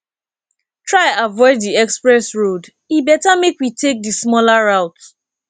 try avoid di express road e better make we take di smaller route